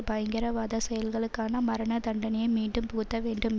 பயங்கரவாத செயல்களுக்காக மரண தண்டனையை மீண்டும் புகுத்தவேண்டும்